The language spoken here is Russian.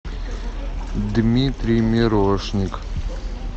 дмитрий мирошник